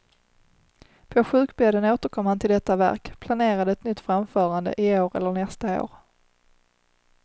På sjukbädden återkom han till detta verk, planerade ett nytt framförande, i år eller nästa år.